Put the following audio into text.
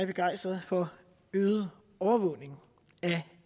begejstret for øget overvågning af